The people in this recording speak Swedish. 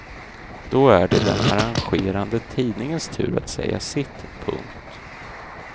Då är det den arrangerande tidningens tur att säga sitt. punkt